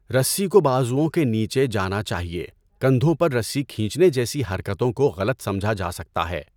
رسی کو بازوؤں کے نیچے جانا چاہیے، کندھوں پر رسی کھینچنے جیسی حرکتوں کو غلط سمجھا جا سکتا ہے۔